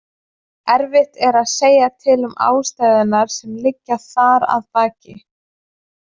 Erfitt er að segja til um ástæðurnar sem liggja þar að baki.